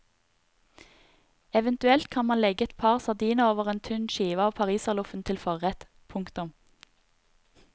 Eventuelt kan man legge et par sardiner over en tynn skive av pariserloffen til forrett. punktum